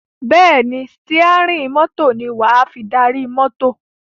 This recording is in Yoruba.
Bẹ́ẹ̀ ni, sítíẹ́rì mọ́tò ní wà á fi darí mọ́tò.